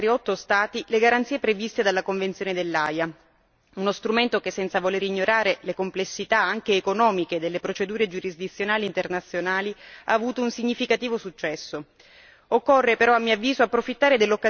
Oggi registriamo l'opportunità di estendere ad altri otto Stati le garanzie previste dalla Convenzione dell'Aia, uno strumento che, senza voler ignorare le complessità anche economiche delle procedure giurisdizionali internazionali, ha avuto un significativo successo.